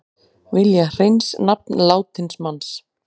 Vilja hreins nafn látins manns